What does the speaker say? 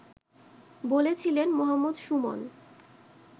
বলছিলেন মো: সুমন